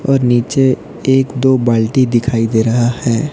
और नीचे एक दो बाल्टी दिखाई दे रहा है।